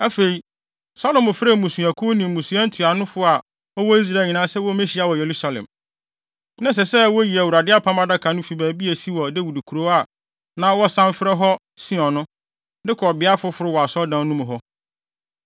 Afei, Salomo frɛɛ mmusuakuw ne mmusua ntuanofo a wɔwɔ Israel nyinaa sɛ wommehyia wɔ Yerusalem. Na ɛsɛ sɛ woyi Awurade Apam Adaka no fi baabi a esi wɔ Dawid kurow a na wɔsan frɛ hɔ Sion no, de kɔ beae foforo wɔ Asɔredan no mu hɔ.